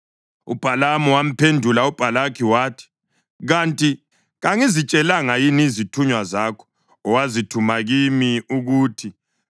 UBhalamu wamphendula uBhalaki wathi, “Kanti kangizitshelanga yini izithunywa zakho owazithuma kimi ukuthi,